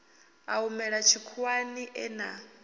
a humela tshikhuwani e na